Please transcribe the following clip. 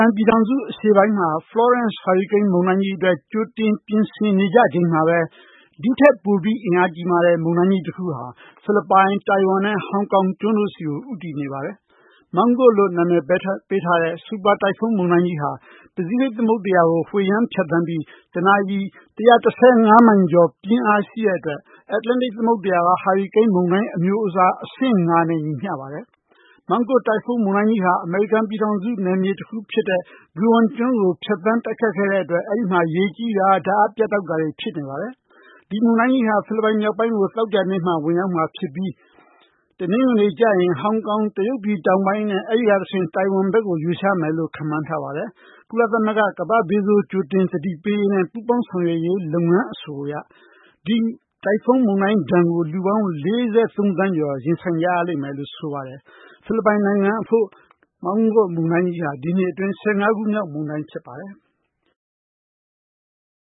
န်ပြည်ထောင်စု အရှေ့ပိုင်းမှာ ဟာရီကိန်း မုန်တိုင်းကြီးအတွက် ကြိုတင်ပြင်ဆင်နေကြချိန်မှာပဲ ဒီထက်ပိုမိုအင်အားကြီးမားတဲ့ မုန်တိုင်းကြီးတခုဟာ ဖိလစ်ပိုင်၊ တိုင်ဝမ်နဲ့ ဟောင်ကောင်တို့ကို ဦးတည်နေပါတယ်။ မောင်းကွတ်လို့ နာမည်ပေးထားတဲ့ စူပါ တိုင်ဖုန်းမုန်တိုင်းကြီးဟာ ပစိဖိတ်သမုဒ္ဒရာကို ဝှေ့ယမ်း ဖြတ်သန်းပြီး တနာရီ ၁၁၅ မိုင်ကျော် ပြင်းအားရှိတဲ့အတွက် အန္တလန်တိတ်သမုဒ္ဒရာက ဟာရီကိန်းမုန်တိုင်း အမျိုးအစား အဆင့် (၅)နဲ့ ညီမျှပါတယ်။ မောင်းကွတ် တိုင်ဖုန်းမုန်တိုင်းကြီးဟာ အမေရိကန်ပြည်ထောင်စုနယ်မြေတခုဖြစ်တဲ့ ဂွမ်ကျွန်းကို ဖြတ်သန်းခဲ့တဲ့အတွက် အဲဒီမှာ ရေကြီးတာ၊ ဓါတ်အားပြတ်တောက်တာတွေ ဖြစ်နေပါတယ်။ ဒီမုန်တိုင်းကြီးဟာ ဖိလစ်ပိုင်မြောက်ပိုင်းကို သောကြာနေ့ဝင်ရောက်မှာဖြစ်ပြီး တနင်္ဂနွေနေ့ကျရင် ဟောင်ကောင်နဲ့ တရုတ်ပြည်တောင်ပိုင်း အဲဒီကတဆင့် တိုင်ဝမ်ဘက်ကို ရွေ့လျားမယ်လို့ ခန့်မှန်းထားပါတယ်။ ကုလသမဂ္ဂ ကမ္ဘာ့ဘေးဆိုး ကြိုတင်သတိပေးရေးနဲ့ ပူးပေါင်းဆောင်ရွက်ရေး လုပ်ငန်း အဆိုအရ ဒီတိုင်ဖုန်းမုန်တိုင်းဒဏ်ကို လူပေါင်း ၄၃ သန်းကျော် ရင်ဆိုင်ကြရလိမ့်မယ်လို့ သိရပါတယ်။ ဖိလစ်ပိုင်နိုင်ငံအဖို့ မောင်းကွတ်မုန်တိုင်းကြီးဟာ ဒီနှစ်အတွင်း (၁၅)ခုမြောက် မုန်တိုင်းဖြစ်ပါတယ်။